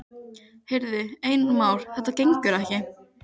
Heyrðu, Einar Már, þetta gengur ekki.